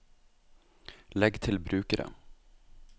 legg til brukere